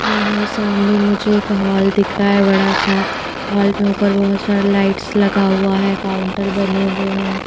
यहां सामने मुझे एक हॉल दिख रहा है बड़ा सा हॉल में ऊपर बहुत सारा लाइट्स लगा हुआ है काउंटर बने हुए हैं।